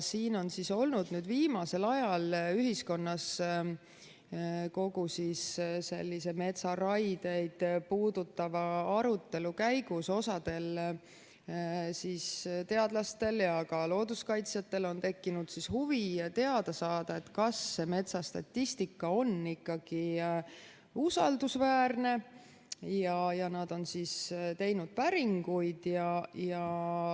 Siin on viimasel ajal ühiskonnas kogu metsaraieid puudutava arutelu käigus osal teadlastel ja ka looduskaitsjatel tekkinud huvi teada saada, kas see metsastatistika on ikkagi usaldusväärne, ja nad on teinud päringuid.